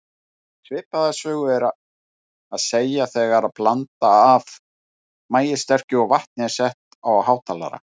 Svipaða sögu er að segja þegar blanda af maíssterkju og vatni er sett á hátalara.